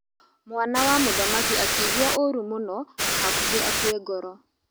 Mwana wa mũthamaki akĩigua ũru mũno na hakuhĩ akue ngoro.